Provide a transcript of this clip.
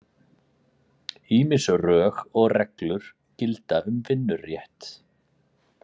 Ýmis rög og reglur gilda um vinnurétt.